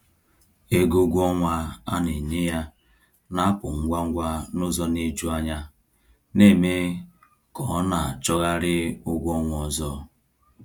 Ego ọnwa a na-enye ya na-apụ ngwa ngwa n’ụzọ na-eju anya, na-eme ka ọ na-achọgharị ụgwọ ọnwa ọzọ.